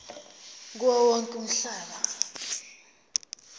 kuwo wonke umhlaba